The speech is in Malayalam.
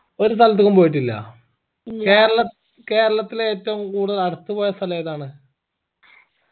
ഒരു സ്ഥലത്ക്കും പോയിട്ടില്ലാ കേരളത്തിൽ ഏറ്റവും കൂടുതൽ അടുത്ത് പോയ സ്ഥലേതാണ്